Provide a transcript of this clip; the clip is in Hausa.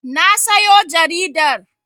Na sayo jaridar.